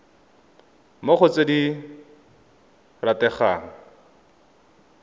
mo go tse di rategang